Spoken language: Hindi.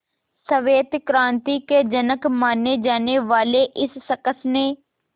श्वेत क्रांति के जनक माने जाने वाले इस शख्स ने